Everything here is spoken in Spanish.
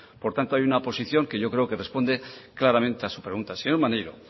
por tanto hay una posición que yo creo que responde claramente a su pregunta señor maneiro